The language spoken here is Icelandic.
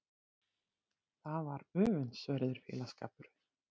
Það var öfundsverður félagsskapur.